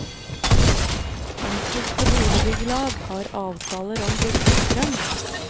Enkelte boligbyggelag har avtaler om billig strøm.